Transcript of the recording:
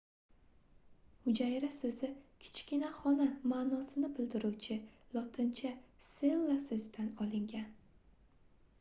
hujayra soʻzi kichkina xona maʼnosini bildiruvchi lotincha cella soʻzidan olingan